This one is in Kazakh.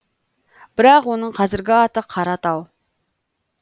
бірақ оның қазіргі аты қаратау